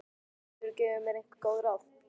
Geturðu gefið mér einhver góð ráð?